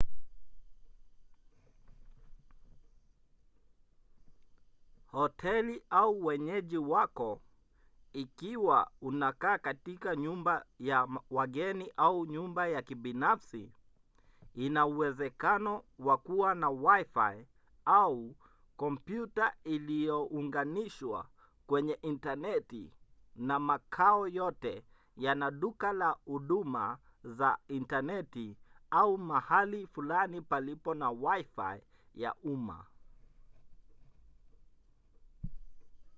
hoteli au wenyeji wako ikiwa unakaa katika nyumba ya wageni au nyumba ya kibinafsi ina uwezekano wa kuwa na wifi au kompyuta iliyounganishwa kwenye intaneti na makao yote yana duka la huduma za intaneti au mahali fulani palipo na wifi ya umma